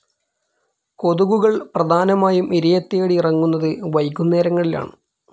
കൊതുകുകൾ പ്രധാനമായും ഇരയെത്തേടി ഇറങ്ങുന്നത് വൈകുന്നേരങ്ങളിലാണ്.